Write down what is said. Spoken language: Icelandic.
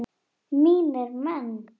Mínir menn!